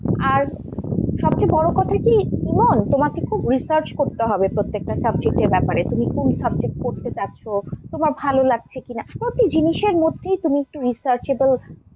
আর সব চেয়ে বড় কথা কি ইমন তোমাকে খুব research করতে হবে প্রত্যেকটা subject এর ব্যাপারে। তুমি কোন subject পড়তে চাইছ, তোমার ভাল লাগছে কিনা? প্রতি জিনিসের মধ্যেই তুমি একটু researchable,